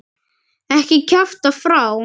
Ekki kjafta frá.